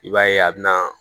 I b'a ye a bɛ na